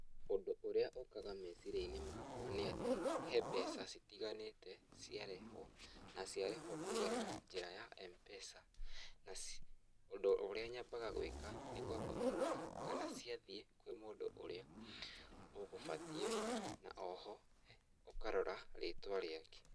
Ũndũ urĩa ũkaga meciria-inĩ makwa nĩ atĩ, he mbeca citiganĩte ciarĩhwo, na ciarĩhwo kũgerera njĩra ya M-PESA , na, ũndũ ũrĩa nyambaga gwĩka nĩ kwamba kũrora kana ciathiĩ kwĩ mũndũ ũrĩa ũgũbatiĩ, na o ho ũkarora rĩtwa rĩake.